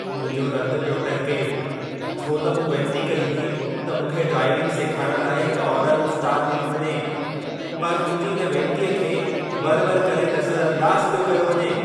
मुंहिंजो रतु पियो टहिके छो त मूं वेंती कई हुई त मूंखे ड्राइविंग सेखारण लाइ हिक औरत उस्ताद ॾिनी वञे, पर मुंहिंजी इन वेंतीअ खे वर-वर करे नज़रअंदाज़ु पियो कयो वञे।